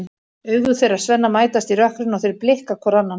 Augu þeirra Svenna mætast í rökkrinu og þeir blikka hvor annan.